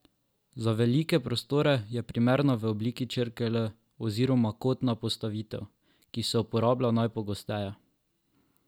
Za velike prostore je primerna v obliki črke L oziroma kotna postavitev, ki se uporablja najpogosteje.